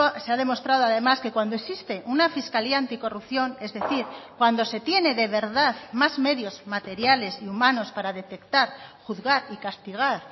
se ha demostrado además que cuando existe una fiscalía anticorrupción es decir cuando se tiene de verdad más medios materiales y humanos para detectar juzgar y castigar